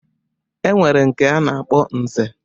E nwere nke a na-akpọ Nze.